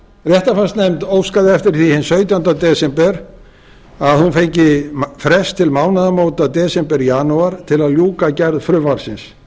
réttarfarsnefnd óskaði eftir því hinn sautjánda desember að hún fengi frest til mánaðamóta desember janúar til að ljúka gerð frumvarpsins